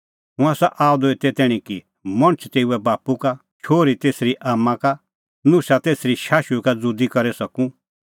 हुंह आसा आअ द एते तैणीं कि मणछ तेऊए बाप्पू का शोहरी तेसरी आम्मां का नुशा तेसरी शाशुई का ज़ुदी करी सकूं